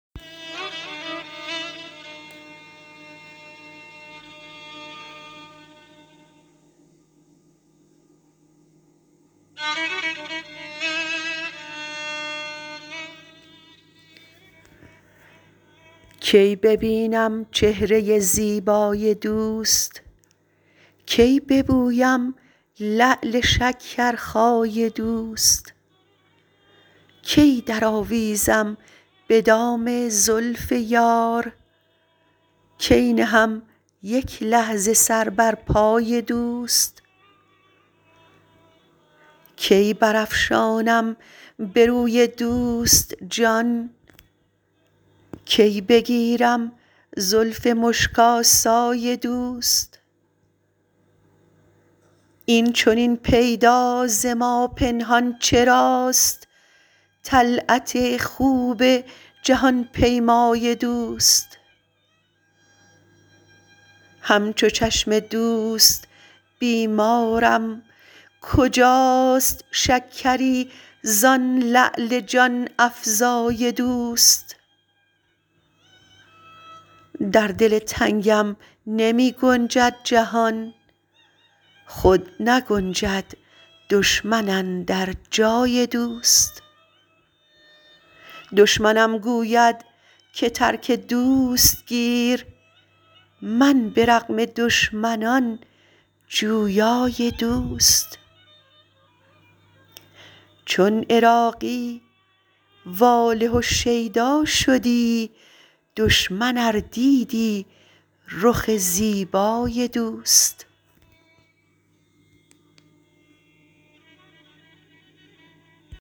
کی ببینم چهره زیبای دوست کی ببوسم لعل شکرخای دوست کی درآویزم به دام زلف یار کی نهم یک لحظه سر بر پای دوست کی برافشانم به روی دوست جان کی بگیرم زلف مشک آسای دوست این چنین پیدا ز ما پنهان چراست طلعت خوب جهان پیمای دوست همچو چشم دوست بیمارم کجاست شکری زان لعل جان افزای دوست در دل تنگم نمی گنجد جهان خود نگنجد دشمن اندر جای دوست دشمنم گوید که ترک دوست گیر من به رغم دشمنان جویای دوست چون عراقی واله و شیدا شدی دشمن ار دیدی رخ زیبای دوست